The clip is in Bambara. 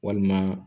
Walima